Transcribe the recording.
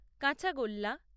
কাঁচাগোল্লা